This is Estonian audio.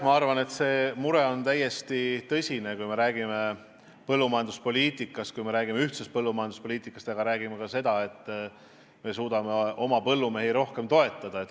Ma arvan, et see mure on täiesti tõsine, kui me räägime põllumajanduspoliitikast, kui me räägime ühisest põllumajanduspoliitikast ja sellest, et me peame suutma oma põllumehi rohkem toetada.